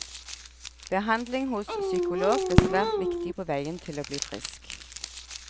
Behandling hos psykolog ble svært viktig på veien til å bli frisk.